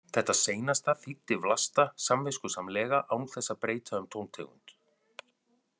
Þetta seinasta þýddi Vlasta samviskusamlega án þess að breyta um tóntegund.